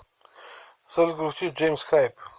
салют включи джеймс хайп